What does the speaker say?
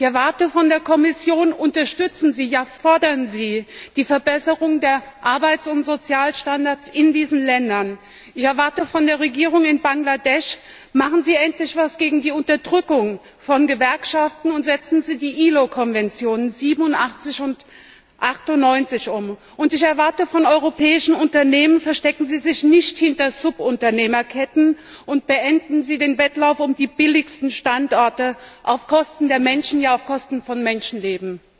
Ich erwarte von der Kommission Unterstützen Sie, ja fordern Sie die Verbesserung der Arbeits und Sozialstandards in diesen Ländern! Ich erwarte von der Regierung in Bangladesch Machen Sie endlich etwas gegen die Unterdrückung von Gewerkschaften, und setzen Sie die IAO Übereinkommen 87 und 98 um. Ich erwarte von europäischen Unternehmen Verstecken Sie sich nicht hinter Subunternehmerketten, und beenden Sie den Wettlauf um die billigsten Standorte auf Kosten der Menschen, ja auf Kosten von Menschenleben.